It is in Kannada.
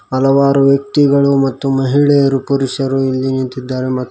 ಹಲವಾರು ವ್ಯಕ್ತಿಗಳು ಮತ್ತು ಮಹಿಳೆಯರು ಪುರುಷರು ಇಲ್ಲಿ ನಿಂತಿದ್ದಾರೆ ಮತ್ತು --